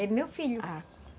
É meu filho, ah.